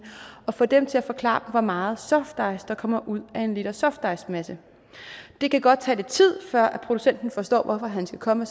og få dem til at forklare hvor meget softice der kommer ud af en liter softicemasse det kan godt tage lidt tid før procenten forstår hvorfor han skal komme